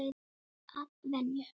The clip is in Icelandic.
Að venju.